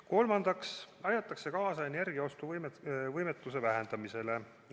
Kolmandaks aidatakse kaasa energiaostuvõimetuse vähendamisele.